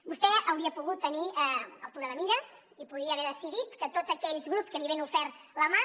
vostè hauria pogut tenir altura de mires i podia haver decidit que tots aquells grups que li havien ofert la mà